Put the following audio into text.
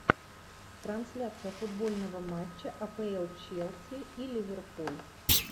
трансляция футбольного матча апл челси и ливерпуль